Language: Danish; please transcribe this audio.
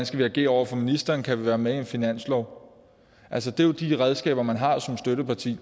skal agere over for ministeren kan være med i en finanslov altså det er jo de redskaber man har som støtteparti